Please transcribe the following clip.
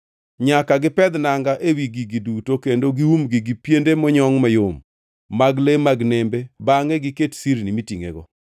Nyaka gipedh nanga ewi gigi duto kendo giumgi gi piende monyongʼ mayom mag le mag nembe bangʼe giket sirni mitingʼego.